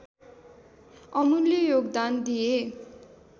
अमूल्य योगदान दिए